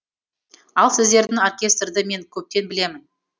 ал сіздердің оркестрді мен көптен білемін